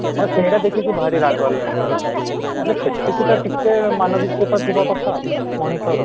ତ ସେଇଟା ଦେଖିକି ଭାରି ରାଗ ଲାଗେ ସେତିକି ତ ଟିକେ ମାନବିକତା ଥିବ କଥା ମଣିଷର